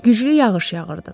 Güclü yağış yağırdı.